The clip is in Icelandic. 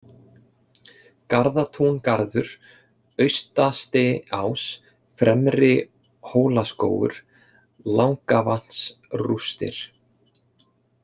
Garðatúngarður, Austastiás, Fremri-Hólaskógur, Langavatnsrústir